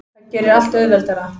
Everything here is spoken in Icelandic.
Það gerir allt auðveldara.